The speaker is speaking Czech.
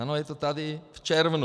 Ano, je to tady, v červnu.